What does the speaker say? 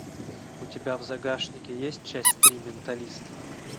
у тебя в загашнике есть часть три менталист